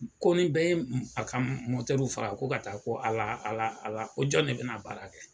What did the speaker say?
Ko ni bɛ ye a ka faga, ko ka taa ko AlKɛa ala anjɔn de bɛna baara kɛ